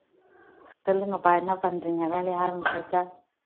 சொல்லுங்கப்பா என்ன பண்றீங்க வேலைய ஆரம்பிச்சாச்சா